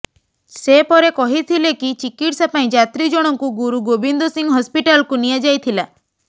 ସେ ପରେ କହିଥିଲେ କି ଚିକିତ୍ସା ପାଇଁ ଯାତ୍ରୀଜଣଙ୍କୁ ଗୁରୁଗୋବିନ୍ଦ ସିଂହ ହସ୍ପିଟାଲ୍କୁ ନିଆଯାଇଥିଲା